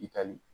I tali